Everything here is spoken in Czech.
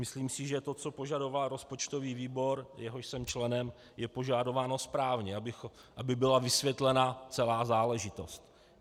Myslím si, že to, co požadoval rozpočtový výbor, jehož jsem členem, je požadováno správně, aby byla vysvětlena celá záležitost.